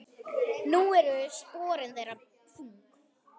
Nú eru sporin þeirra þung.